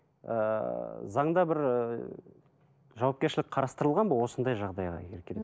ыыы заңда бір і жауапкершілік қарастырылған ба осындай жағдайға келген